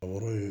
A bɔr'o ye